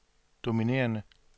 dominerende